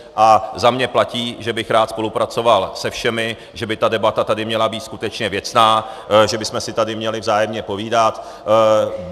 A za mě platí, že bych rád spolupracoval se všemi, že by ta debata tady měla být skutečně věcná, že bychom si tady měli vzájemně povídat.